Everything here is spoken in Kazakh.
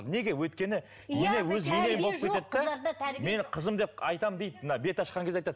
неге өйткені ене өзі ене болып кетеді де менің қызым деп айтамын дейді мына беташқан кезде айтады